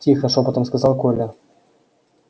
тихо шёпотом сказал коля